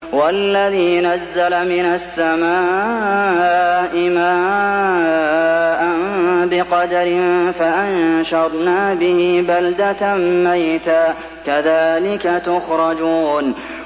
وَالَّذِي نَزَّلَ مِنَ السَّمَاءِ مَاءً بِقَدَرٍ فَأَنشَرْنَا بِهِ بَلْدَةً مَّيْتًا ۚ كَذَٰلِكَ تُخْرَجُونَ